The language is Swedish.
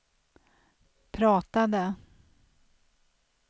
pratade